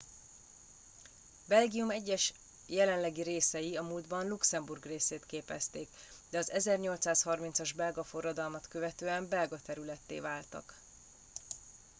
belgium egyes jelenlegi részei a múltban luxemburg részét képezték de az 1830 as belga forradalmat követően belga területté váltak